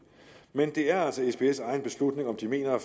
men det er altså sbs egen beslutning om de mener at